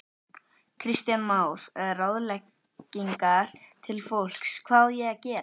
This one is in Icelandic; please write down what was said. Kristján Már: Ráðleggingar til fólks, hvað á að gera?